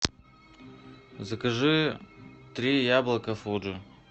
закажи три яблока фуджи